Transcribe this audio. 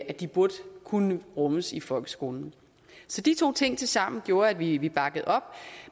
at de burde kunne rummes i folkeskolen så de to ting tilsammen gjorde at vi vi bakkede op